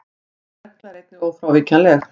Þessi regla er einnig ófrávíkjanleg.